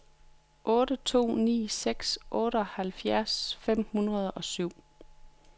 otte to ni seks otteoghalvfjerds fem hundrede og syv